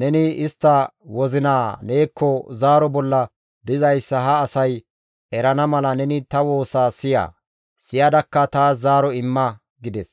neni istta wozinaa neekko zaaro bolla dizayssa ha asay erana mala neni ta woosa siya; siyadakka taas zaaro imma!» gides.